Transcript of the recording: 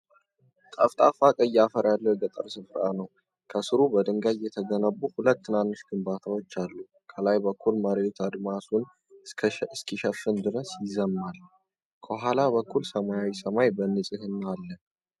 ጠፍጣፋና ቀይ አፈር ያለው የገጠር ስፍራ ነው። ከስሩ በድንጋይ የተገነቡ ሁለት ትናንሽ ግንባታዎች አሉ። ከላይ በኩል መሬቱ አድማሱን እስከሚሸፍን ድረስ ይረዝማል። ከኋላ በኩል ሰማያዊው ሰማይ በንጽህና አሉ።